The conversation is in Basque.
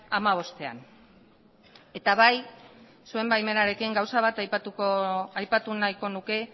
hamabostean eta bai zuen baimenarekin gauza bat aipatu nahiko nuke